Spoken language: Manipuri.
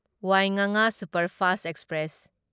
ꯋꯥꯢꯉꯥꯉꯥ ꯁꯨꯄꯔꯐꯥꯁꯠ ꯑꯦꯛꯁꯄ꯭ꯔꯦꯁ